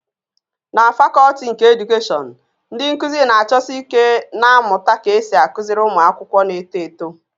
Na fakọlti nke Edukeshọn, ndị nkuzi na-achọsi ike na-amụta ka esi akụziri ụmụ akwụkwọ na-eto eto